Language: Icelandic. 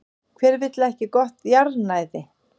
Hver vill ekki gott jarðnæði?